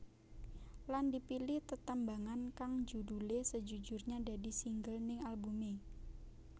Lan dipilih tetembangan kang judulé Sejujurnya dadi single ning albumé